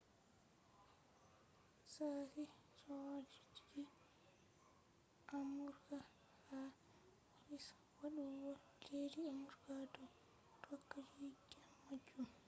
sashi sojaji amurka ha ofis faddugo leddi amurka do tokka jidde majum